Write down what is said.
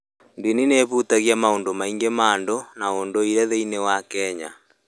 Ndini nĩ ĩhutagia matua maingĩ ma andũ na ũndũire thĩinĩ wa Kenya.